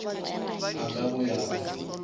a ka go ya ka